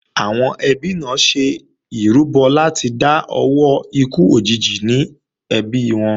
Àwọn ẹbí náà ṣe ìrúbọ láti dá owó ikú òjijì ní ẹbí wọn